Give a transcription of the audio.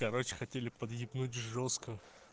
короче хотели подъебнуть жёстко